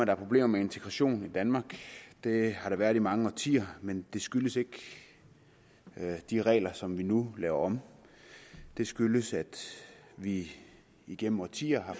er problemer med integrationen i danmark det har der været i mange årtier men det skyldes ikke de regler som vi nu laver om det skyldes at vi igennem årtier har